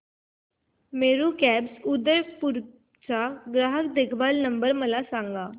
Meru cabs Udaipur चा ग्राहक देखभाल नंबर मला सांगा